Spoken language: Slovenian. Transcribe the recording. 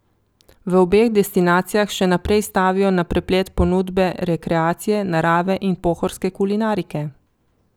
V obeh destinacijah še naprej stavijo na preplet ponudbe rekreacije, narave in pohorske kulinarike.